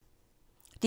DR1